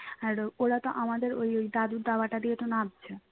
আর ওরা তো আমাদের ওই ওই দাদুর দাওয়াটা দিয়ে তো নামছে